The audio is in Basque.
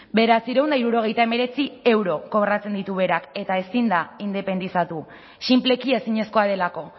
bederatziehun eta hirurogeita hemeretzi euro kobratzen ditu berak eta ezin da independizatu sinpleki ezinezkoa delako